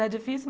Já é difícil?